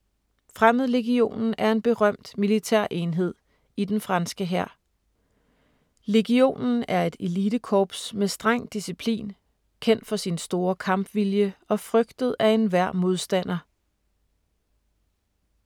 Fremmedlegionen er en berømt militærenhed i den franske hær. Legionen er et elitekorps med streng disciplin, kendt for sin store kampvilje og frygtet af enhver modstander.